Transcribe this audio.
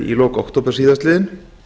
í lok október síðastliðinn